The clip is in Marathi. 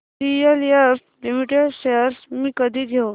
डीएलएफ लिमिटेड शेअर्स मी कधी घेऊ